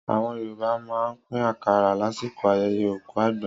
Àwọn Yorùbá máa ń pín àkàrà lásìkò ayẹyẹ òkú àgbà.